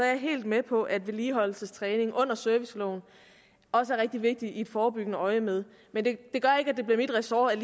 er helt med på at vedligeholdelsestræning under serviceloven også er rigtig vigtig i et forebyggende øjemed men det gør ikke at det bliver mit ressort